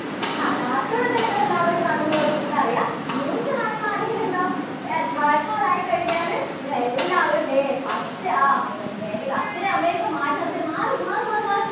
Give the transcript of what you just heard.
ആ cartoon ഒക്കെ നിങ്ങള് എല്ലാവരും കാണും എന്നുള്ളത് miss നറിയാം. news കാണുന്ന ആരെങ്കിലും ഉണ്ടോ? yes മഴക്കാലായി കഴിഞ്ഞാല് നിങ്ങളെല്ലാവരും ദേ first അഹ് അച്ഛനേം അമ്മനേം ഒക്കെ മാറ്റി നിർത്തിയിട്ട് മാറ്, മാറ് മാറ് മാറ്